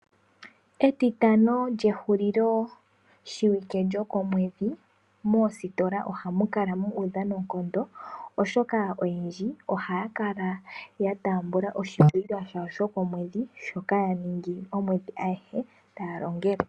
Etitano lyehulilo shiwike lyokomwedhi moositola ohamu kala mu udha noonkondo. Oshoka oyendji ohaya kala ya taamba oshikwiila shawo shokomwedhi shoka ya ningi omwedhi aguhe taya longele.